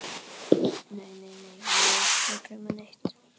Nei, nei, mig var ekki að dreyma neitt.